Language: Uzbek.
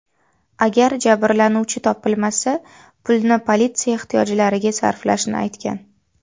Agar jabrlanuvchi topilmasa, pulni politsiya ehtiyojlariga sarflashni aytgan.